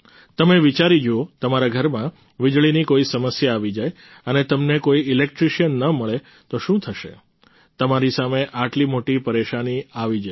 તમે વિચારી જુઓ તમારા ઘરમાં વિજળીની કોઈ સમસ્યા આવી જાય અને તમને કોઈ ઈલેક્ટ્રિશિયન ન મળે તો શું થશે તમારી સામે આટલી મોટી પરેશાની આવી જશે